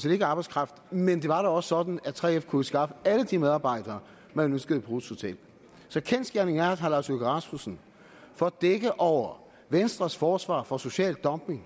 set ikke arbejdskraft men det var da også sådan at 3f kunne skaffe alle de medarbejdere man ønskede på ruths hotel så kendsgerningen er at herre lars løkke rasmussen for at dække over venstres forsvar for social dumping